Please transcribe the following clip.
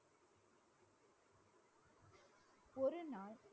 ஒரு நாள்